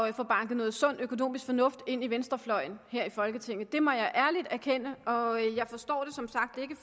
at få banket noget sund økonomisk fornuft ind i venstrefløjen her i folketinget det må jeg ærligt erkende og jeg forstår det som sagt ikke